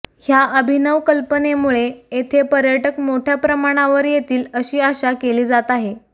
ह्या अभिनव कल्पनेमुळे येथे पर्यटक मोठ्या प्रमाणावर येतील अशी आशा केली जात आहे